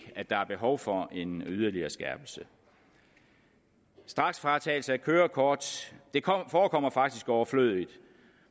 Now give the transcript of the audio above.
at der er behov for en yderligere skærpelse straksfratagelse af kørekort forekommer faktisk overflødigt